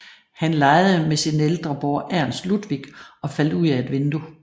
Han legede med sin ældre bror Ernst Ludwig og faldt ud af et vindue